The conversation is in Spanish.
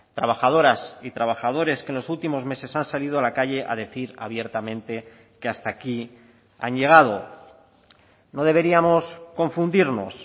trabajadoras y trabajadores que en los últimos meses han salido a la calle a decir abiertamente que hasta aquí han llegado no deberíamos confundirnos